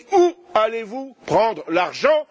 Mais où allez vous prendre l'argent?